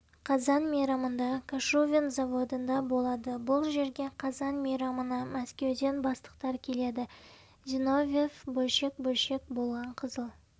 қазан мейрамында кошувен заводында болады бұл жерге қазан мейрамына мәскеуден бастықтар келеді зиновьев бөлшек-бөлшек болған қызыл